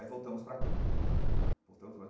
Aí voltamos para cá voltamos para onde.